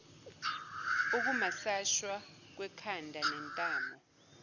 ukumasashwa kwekhanda nentamo